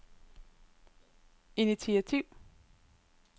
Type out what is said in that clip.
initiativ